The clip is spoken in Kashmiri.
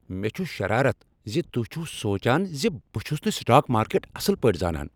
مےٚ چھ شرارت ز تہۍ چھو سوچان ز بہٕ چھس نہٕ سٹاک مارکیٹ اصل پٲٹھۍ زانان۔